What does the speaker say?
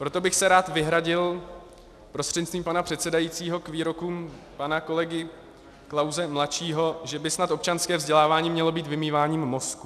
Proto bych se rád vyhradil prostřednictvím pana předsedajícího k výrokům pana kolegy Klause mladšího, že by snad občanské vzdělávání mělo být vymýváním mozků.